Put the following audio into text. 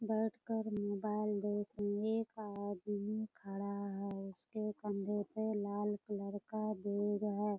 बैठ कर मोबाइल देखने का आदमी खड़ा है | इस के कंधे पे लाल कलर का बैग है |